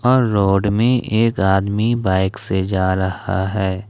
और रोड में एक आदमी बाइक से जा रहा है।